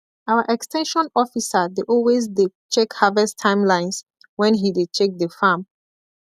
our ex ten sion officer dey always dey check harvest timelines when he dey check the farm